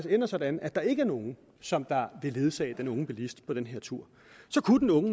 ender sådan at der ikke er nogen som vil ledsage den unge bilist på den her tur og så kunne den unge